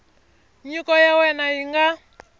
nyiko ya wena yi nga